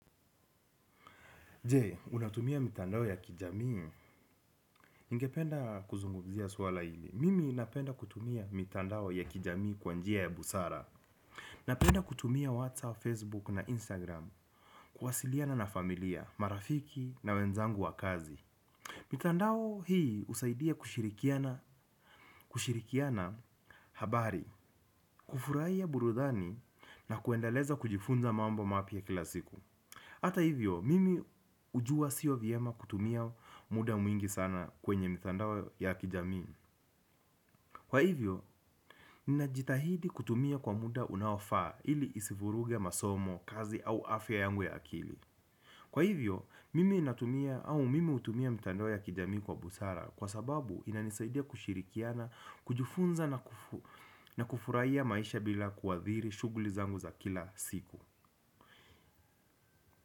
Je, unatumia mitandao ya kijamii, ingependa kuzungumzia swala hili. Mimi napenda kutumia mitandao ya kijamii kwanjia ya busara. Napenda kutumia WhatsApp, Facebook na Instagram Kuwasiliana na familia, marafiki na wenzangu wa kazi mitandao hii husaidia kushirikiana habari. Kufurahia burudani na kuendeleza kujifunza mambo mapya kilasiku. Hata hivyo, mimi ujua siyo vyema kutumia muda mwingi sana kwenye mitandao ya kijamii. Kwa hivyo, ninajitahidi kutumia kwa muda unaofaa ili isivuruge masomo, kazi au afya yangu ya akili. Kwa hivyo, mimi natumia au mimi utumia mitandao ya kijamii kwa busara kwa sababu inanisaidia kushirikiana, kujifunza na kufuraiya maisha bila kuwadhiri shughuli zangu za kila siku.